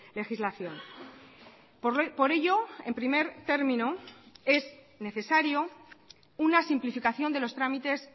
legislación por ello en primer término es necesario una simplificación de los trámites